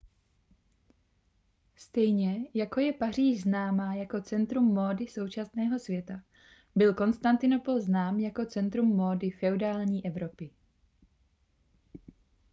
stejně jako je paříž známá jako centrum módy současného světa byl konstantinopol znám jako centrum módy feudální evropy